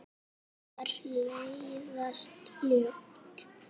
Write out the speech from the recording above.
Mér leiðast ljóð.